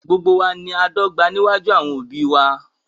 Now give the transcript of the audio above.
Gbogbo wa ní ọ dọ̀gbà níwájú àwọn obì wà